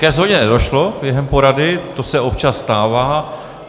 Ke shodě nedošlo během porady, to se občas stává.